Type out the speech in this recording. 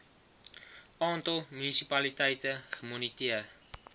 aantal munisipaliteite gemoniteer